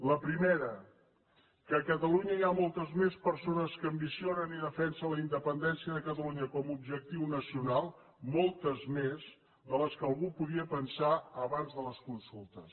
la primera que a catalunya hi ha moltes més persones que ambicionen i defensen la independència de catalunya com a objectiu nacional moltes més que les que algú podia pensar abans de les consultes